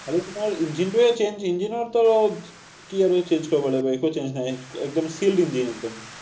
খালী তোমাৰ engine হে engine ৰতো কি আৰু change কৰিব লাগিব, একো change নাই। একদম shield একদম।